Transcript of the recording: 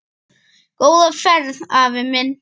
Góða ferð, afi minn.